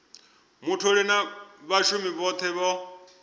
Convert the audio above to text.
mutholi na vhashumi vhothe vho